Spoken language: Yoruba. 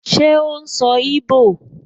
Ṣé ó n sọ íbò?